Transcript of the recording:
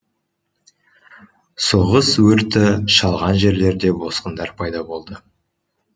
соғыс өрті шалған жерлерде босқындар пайда болды